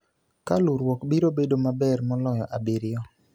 ka luruok ka luruok biro bedo maber moloyo abiriyo.